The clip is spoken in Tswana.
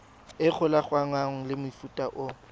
e golaganngwang le mofuta o